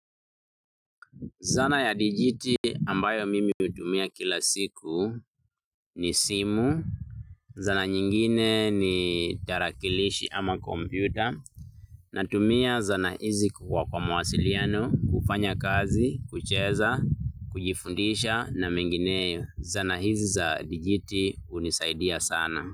Zana ya dijiti ambayo mimi hutumia kila siku ni simu. Zana nyingine ni tarakilishi ama kompyuta natumia zana hizi kwa kwa mawasiliano, kufanya kazi, kucheza, kujifundisha na mengineyo. Zana hizi za DGT unisaidia sana.